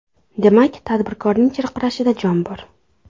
Demak, tadbirkorning chirqirashida jon bor.